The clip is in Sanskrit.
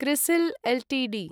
CRISIL Ltd